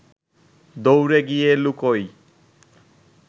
দৌড়ে গিয়ে লুকোই